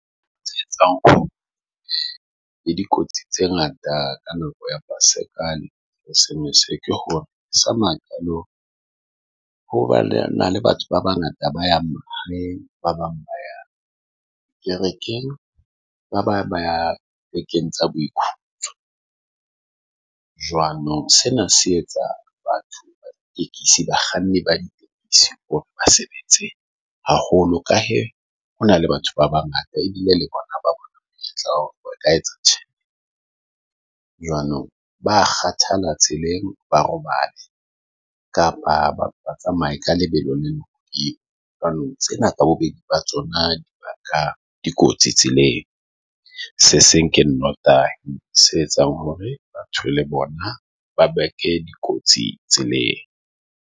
E, dikotsi tse ngata ka nako ya Paseka le masekane, Sms ke sa maqalong hoba le na le batho ba bangata ba yang mare ba bang kerekeng, ba bang ba bekeng tsa boikutlo jwanong. Sena se etsa batho ba bakganni ba di hore basebetsi haholo ka ha hona le batho ba bangata ebile le bona ba tla etsa jwanong. Ba kgathala tseleng, ba robale kapa batsamai ka lebelo la jwanong Tsena bobedi ba tsona di baka dikotsi tseleng. se seng ke notary se etsang hore batho le bona ba beke dikotsi tseleng .